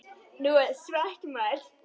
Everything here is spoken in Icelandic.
Nú er það svart, maður.